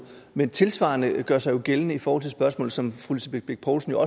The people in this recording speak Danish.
men noget tilsvarende gør sig gældende i forhold til et spørgsmål som fru lisbeth bech poulsen jo